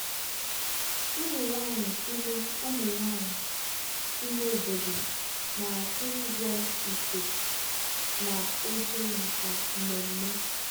ụmụ nwanyị ime ụmụ nwanyị ime obodo na-akwụ ụgwọ ite na oche maka mmemme.